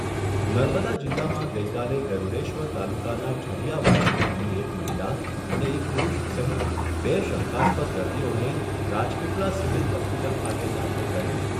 નર્મદા જિલ્લામાં ગઈકાલે ગરૂડેશ્વર તાલુકાના ઝરીયાવાડી ગામની એક મહિલા અને એક પુરૂષ સહિત બે શંકાસ્પદ દર્દીઓને રાજપીપલા સિવીલ હોસ્પિટલ ખાતે દાખલ કરીને